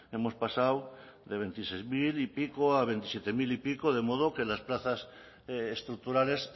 hemos pasado de veintiséis mil y pico a veintisiete mil y pico de modo que las plazas estructurales